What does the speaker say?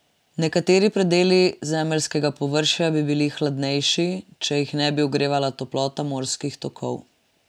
Nekateri predeli zemeljskega površja bi bili hladnejši, če jih ne bi ogrevala toplota morskih tokov.